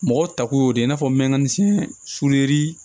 Mɔgɔw tako y'o de ye i n'a fɔ mɛmansin sulɛri